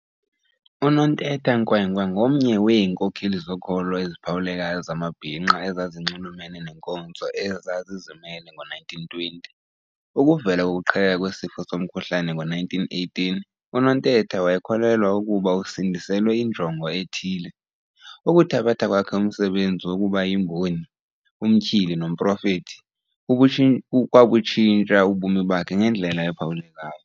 UNontetha Nkwenkwe ngomnye weenkokheli zokholo eziphawulekayo zamabhinqa ezazinxumelene neenkonzo eza zizimele ngoo-1920. Ukuvela kokuqhekeka kwesifo somkhuhlane ngo1918, uNontetha wayekholelwa ukuba usindiselwe injongo ethile. Ukuthabatha kwakhe umsebenzi wokubayimboni, umtyhili, nomprofeti kwabutshintsha ubomi bakhe ngendlela ephawulekayo.